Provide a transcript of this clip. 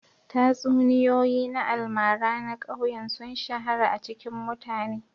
Tatsuniyoyi na almara na ƙauyen sun shahara a cikin mutane